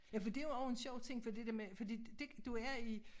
Ja for det jo også en sjov ting for det der med fordi det du er i